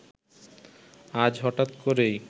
আজ হঠাৎ করেই